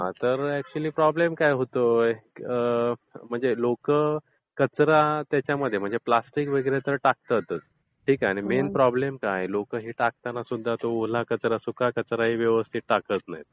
हा तर actually problem काय होतोय? म्हणजे लोकं कचरा त्याच्यामध्ये म्हणजे प्लॅस्टिक वगैरे तर टाकतातच. आणि मेन प्रॉब्लेम काय आहे? लोक हे टाकताना सुद्धा हे ओला कचरा आणि सुका कचरा हे व्यवस्थित टाकत नाहीत.